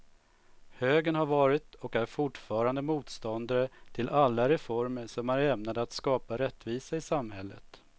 Högern har varit och är fortfarande motståndare till alla reformer som är ämnade att skapa rättvisa i samhället.